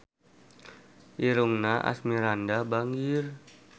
Irungna Asmirandah bangir